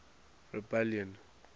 rebellion